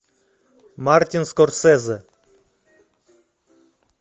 мартин скорсезе